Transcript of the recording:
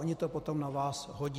Oni to potom na vás hodí.